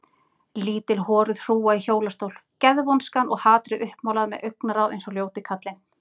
Lítil horuð hrúga í hjólastól, geðvonskan og hatrið uppmálað með augnaráð eins og ljóti kallinn.